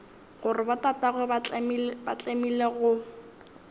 gore botatagwe ba tlemile go